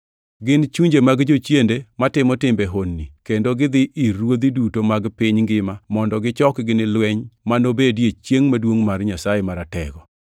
Gin chunje mag jochiende matimo timbe honni kendo gidhi ir ruodhi duto mag piny ngima mondo gichokgi ni lweny ma nobedie chiengʼ maduongʼ mar Nyasaye Maratego.